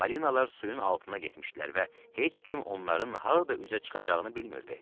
Balinalar suyun altına getmişdilər və heç kim onların harda üzə çıxacağını bilmirdi.